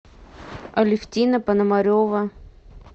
алефтина пономарева